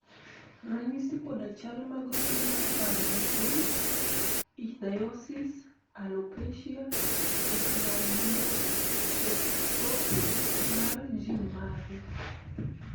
ranyisi kod chal mag tuo mar paro matin Ichthyosis alopecia eclabion ectropion mar gin mage?